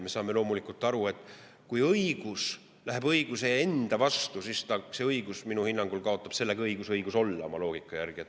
Me saame loomulikult aru, et kui õigus läheb õiguse enda vastu, siis see õigus minu hinnangul kaotab sellega õiguse õigus olla.